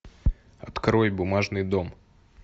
открой бумажный дом